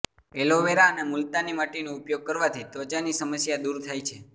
aloe vera અને મુલતાની માટીનો ઉપયોગ કરવાથી ત્વચાની સમસ્યા દૂર થાય છે